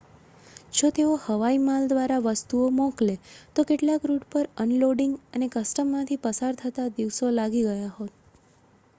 જો તેઓ હવાઈ માલ દ્વારા વસ્તુઓ મોકલે તો કેટલાક રૂટ પર અનલોડિંગ અને કસ્ટમમાંથી પસાર થતાં દિવસો લાગી ગયા હોત